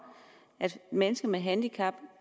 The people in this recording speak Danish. at mennesker med handicap